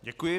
Děkuji.